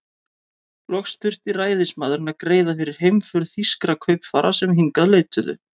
Loks þurfti ræðismaðurinn að greiða fyrir heimför þýskra kaupfara, sem hingað leituðu.